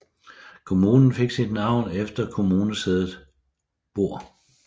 Kommunen fik sit navn efter kommunesædet Bor